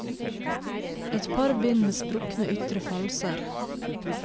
Et par bind med sprukne ytre falser.